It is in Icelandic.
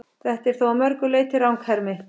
Þetta er þó að mörgu leyti ranghermi.